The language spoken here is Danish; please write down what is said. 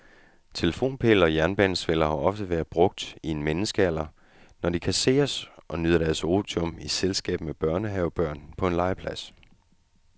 Telefonpæle og jernbanesveller har ofte været brugt i en menneskealder, når de kasseres og nyder deres otium i selskab med børnehavebørn på en legeplads.